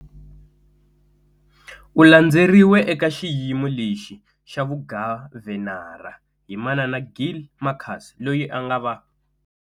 U landzeriwe eka xiyimo lexi xa vugavhenara hi manana Gill Marcus loyi a nga va.